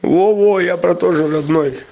во-во я про то же родной